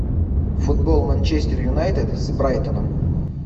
футбол манчестер юнайтед с брайтоном